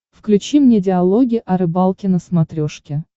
включи мне диалоги о рыбалке на смотрешке